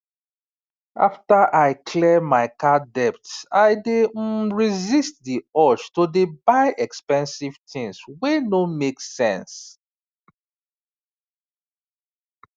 after i clear my card debt i dey um resist the urge to dey buy expensive tins wey no make sense